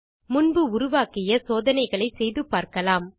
முன்பு உருவாக்கிய சோதனைகளை செய்து பார்க்கலாம்